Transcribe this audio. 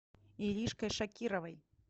иришкой шакировой